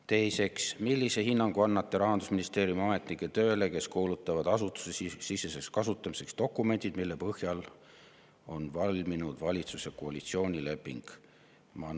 Teiseks: "Millise hinnangu annate Rahandusministeeriumi ametnike tööle, kes kuulutavad asutusesiseseks kasutamiseks dokumendid, mille põhjal on valminud valitsuse koalitsioonileping?